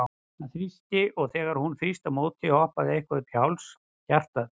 Hann þrýsti, og þegar hún þrýsti á móti, hoppaði eitthvað upp í háls hjartað?